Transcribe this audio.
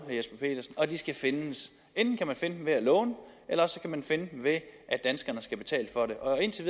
og de penge skal findes enten kan man finde dem ved at låne eller også kan man finde dem ved at danskerne skal betale for det og indtil